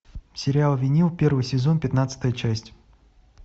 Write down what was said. сериал винил первый сезон пятнадцатая часть